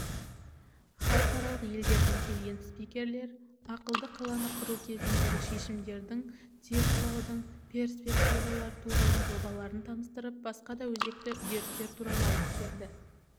халықаралық елдерден келген спикерлер ақылды қаланы құру кезіндегі шешімдердің цифрлаудың перспективалары туралы жобаларын таныстырып басқа да өзекті үдерістер туралы айтып береді